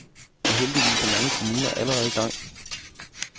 Og heldigvis er mange kommuner allerede i gang.